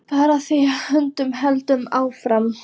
Bara því að hrörnunin heldur áfram.